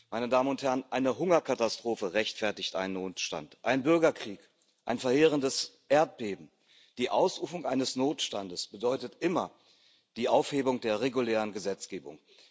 Eine Hungerkatastrophe rechtfertigt einen Notstand, ein Bürgerkrieg, ein verheerendes Erdbeben. Die Ausrufung eines Notstandes bedeutet immer die Aufhebung der regulären Gesetzgebung.